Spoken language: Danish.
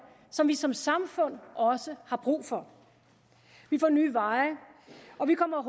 som vi som samfund også har brug for vi får nye veje og vi kommer